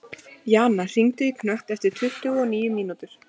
Jana, hringdu í Knött eftir tuttugu og níu mínútur.